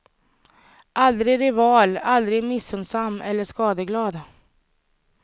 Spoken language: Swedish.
Aldrig rival, aldrig missunnsam eller skadeglad.